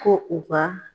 Ko u ka